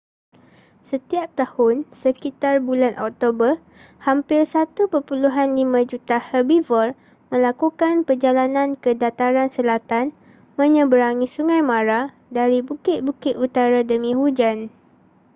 setiap tahun sekitar bulan oktober hampir 1.5 juta herbivor melakukan perjalanan ke dataran selatan menyeberangi sungai mara dari bukit-bukit utara demi hujan